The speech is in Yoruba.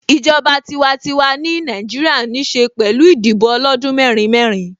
Ìjọba tiwantiwa ni Nàìjíríà ń ṣe pẹ̀lú Ìdìbò ọlọ́dún mẹ́rin mẹ́rin